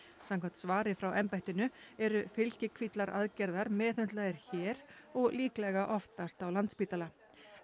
samkvæmt svari frá embættinu eru fylgikvillar aðgerðar meðhöndlaðir hér og líklega oftast á Landspítala